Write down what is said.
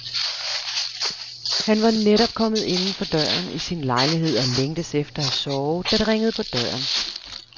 Han var netop kommet inden for døren i sin lejlighed og længtes efter at sove, da det ringede på døren.